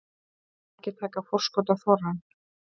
Margir taka forskot á þorrann